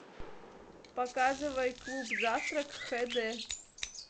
показывай клуб завтрак хд